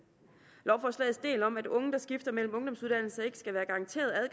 lovforslagets del om at unge der skifter mellem ungdomsuddannelser ikke skal være garanteret